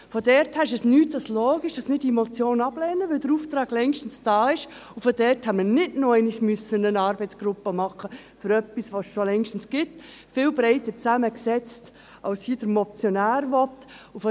Daher ist es nichts als logisch, dass wir diese Motion ablehnen, weil der Auftrag längst da ist und man daher nicht noch einmal eine Arbeitsgruppe für etwas machen muss, das es schon längst gibt – viel breiter zusammengesetzt als es der Motionär hier will.